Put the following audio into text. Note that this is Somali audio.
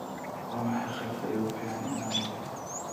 waa maxay qaybta ugu fiican inaad noqoto